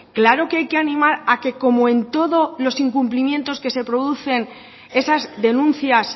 claro que hay que animar a que como en todo los incumplimientos que se producen esas denuncias